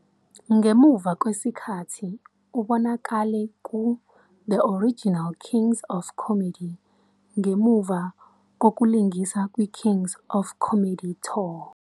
Ngemuva kwesikhathi ubonakale ku-"The Original Kings of Comedy" ngemuva kokulingisa kwi-Kings "of Comedy Tour."